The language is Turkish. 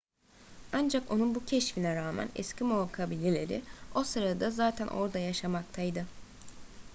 ancak onun bu keşfine rağmen eskimo kabileleri o sırada zaten orada yaşamaktaydı